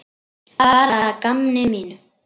Bara að gamni mínu.